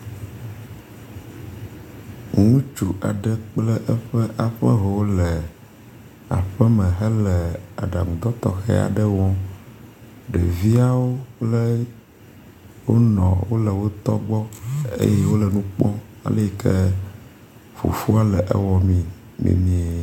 Ŋutsu aɖe kple eƒe aƒeho le aƒeme hele aɖaŋudɔ tɔxe aɖe wɔm. Ɖeviawo kple wo nɔ wo le wo tɔ gbɔ eye wo le nu kpɔm ale yi ke fofoa le ewɔ mee nenea.